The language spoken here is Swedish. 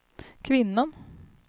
kvinnan